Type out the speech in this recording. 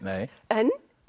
en